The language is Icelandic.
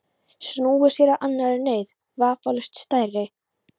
Snúið sér að annarri neyð, vafalaust stærri.